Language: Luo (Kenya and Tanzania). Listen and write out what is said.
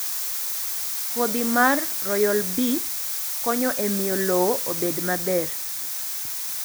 Kodhi mar Royal bee konyo e miyo lowo obed maber.